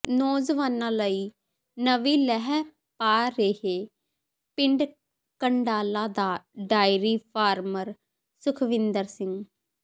ਨੌਜਵਾਨਾਂ ਲਈ ਨਵੀਂ ਲੀਹ ਪਾ ਰਿਹੈ ਪਿੰਡ ਕੰਡਾਲਾ ਦਾ ਡੇਅਰੀ ਫਾਰਮਰ ਸੁਖਵਿੰਦਰ ਸਿੰਘ